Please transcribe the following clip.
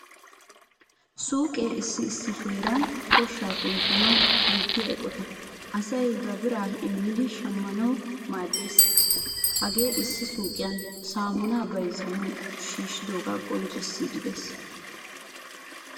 Suuqee issi heeraassi koshsha kunttiya eqqotta. Asay ba bira immidi shammanawu maaddees. Hagee issi suuqqiyan saamuna bayzzanawu shiishidoga qonccissidi de"ees.